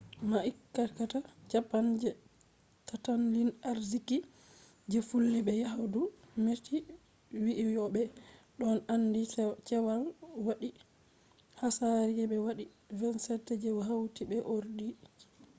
ma’aikata japan’s je tattalin arziki je fillu be yahdu meti wi'i yo'o ɓe ɗon aandi cewa wodi hasari je be wadi 27 je hauti be ordoji